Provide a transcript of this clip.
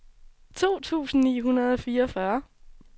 to tusind ni hundrede og fireogfyrre